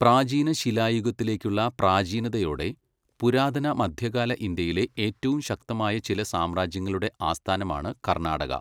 പ്രാചീന ശിലായുഗത്തിലേക്കുള്ള പ്രാചീനതയോടെ, പുരാതന മധ്യകാല ഇന്ത്യയിലെ ഏറ്റവും ശക്തമായ ചില സാമ്രാജ്യങ്ങളുടെ ആസ്ഥാനമാണ് കർണാടക.